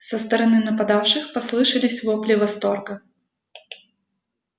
со стороны нападавших послышались вопли восторга